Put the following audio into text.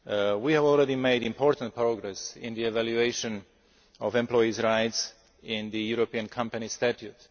States. We have already made important progress in the evaluation of employees' rights in the European company